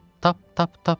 Tap, tap, tap.